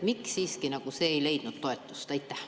Miks see siiski nagu ei leidnud toetust?